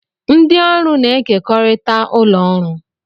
Ndị ọrụ na-ekekọrịta ụlọ ọrụ